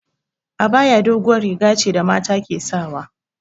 Abaya doguwar riga ce da mata ke sawa